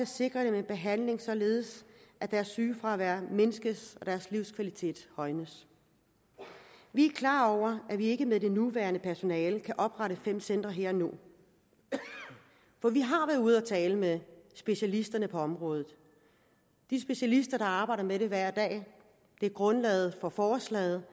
sikre dem en behandling således at deres sygefravær mindskes og deres livskvalitet højnes vi er klar over at vi ikke med det nuværende personale kan oprette fem centre her og nu for vi har været ude at tale med specialisterne på området de specialister der arbejder med det hver dag det er grundlaget for forslaget